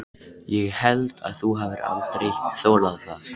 Ég held þú hafir aldrei þolað það.